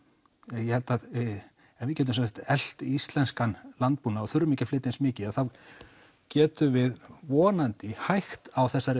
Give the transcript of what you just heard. ég held að ef við getum elt íslenskan landbúnað og þurfum ekki að flytja inn eins mikið þá getum við vonandi hægt á þessari